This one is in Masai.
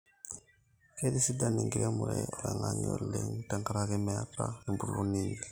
keitisidan enkiremore oloingang'e oleng te nkaraki meeta empuruo nainyel